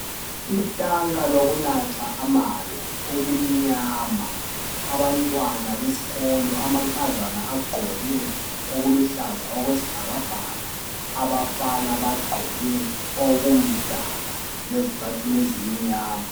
Itanka lokunatha amanzi elimnyama abantwana besikolo amankazana agqoke okuluhlaza okwesibhakabhaka abafana bagqoke okumdaka lezicathulo ezimnyama